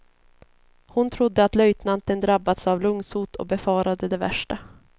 Hon trodde att löjtnanten drabbats av lungsot och befarade det värsta.